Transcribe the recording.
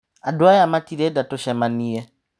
Andũ aya matirenda tũcemanie.